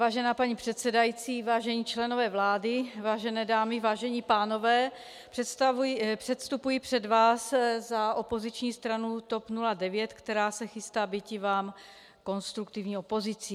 Vážená paní předsedající, vážení členové vlády, vážené dámy, vážení pánové, předstupuji před vás za opoziční stranu TOP 09, která se chystá býti vám konstruktivní opozicí.